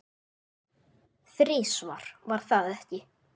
Þrisvar, var það ekki?